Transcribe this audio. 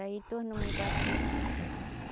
Aí tornou me bater.